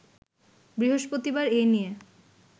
বৃহস্পতিবার এ নিয়ে